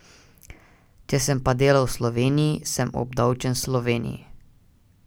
Če sem pa delal v Sloveniji, sem obdavčen v Sloveniji.